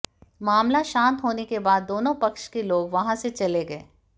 मामला शांत होने के बाद दोनों पक्ष के लोग वहां से चले गए